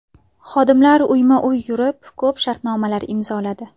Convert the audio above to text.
Xodimlarim uyma-uy yurib, ko‘p shartnomalar imzoladi.